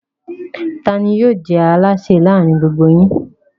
Ta ni yóò jẹ́ alásè láàárin gbogbo yín?